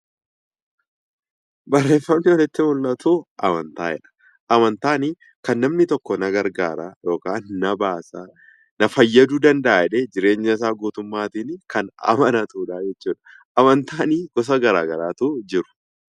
Barreeffamni asitti mul'atu amantaa jedha. Amantaan kan namni tokko na gargaara yookaan na baasa na fayyaduu danda'a jedhee jireenyasaa guutummaatiin kan amanatudha jechuudha. Amantaan gosa garaagaraatu jiru.